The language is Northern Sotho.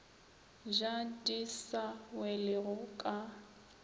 ja di sa welego ka